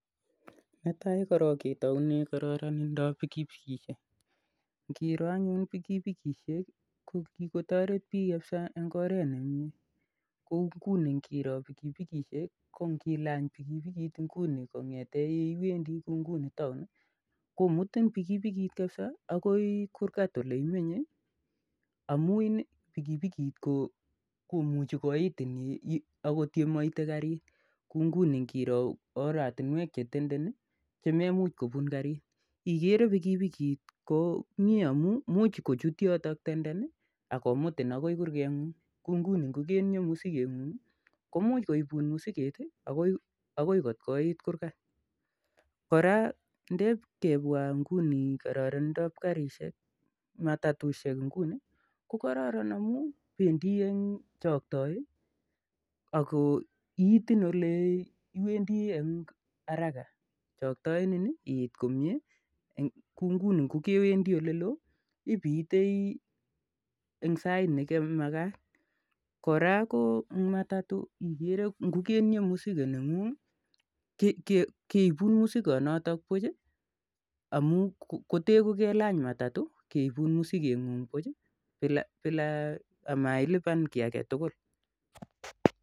Netaai korok ketounee kororonindap pikipikishek ngiroo anyun pikipikishek ko kikotoret biik eng oret nemiyee ko ngilany pikipikt ngunii komutin akili kurgat ole imenyei amuu imuchii kopun ole mapunei gariit kouu oratinwek chemo unei gariit